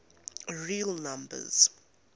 real numbers